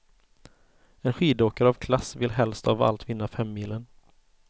En skidåkare av klass vill helst av allt vinna femmilen.